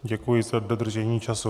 Děkuji za dodržení času.